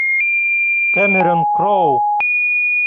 камерон кроу